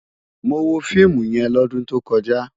Mó wó fiimú yèn lòdún tókòjá